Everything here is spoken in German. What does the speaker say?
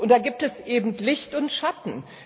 Und da gibt es eben Licht und Schatten.